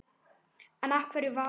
En af hverju Valur?